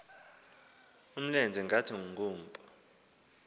umlenze ngathi ngumpu